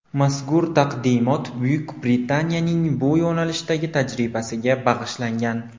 Mazkur taqdimot Buyuk Britaniyaning bu yo‘nalishdagi tajribasiga bag‘ishlangan.